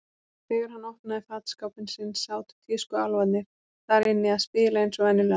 Þegar hann opnaði fataskápinn sinn sátu tískuálfarnir þar inni að spila eins og venjulega.